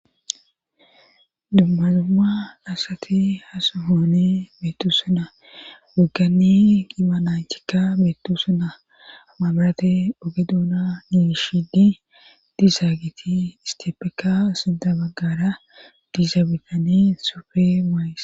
Dumma dumma asati ha sohoni beettoosona wogganni qiiba naythikka beettoosona ha mabirate oge doona giigishidi dizaageeti istapekka sintha baggara diza bitani sufe mayis.